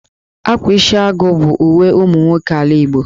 Ákwá Isiagụ bụ uwe ụmụ nwoke ala Igbo